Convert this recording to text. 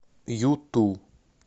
юту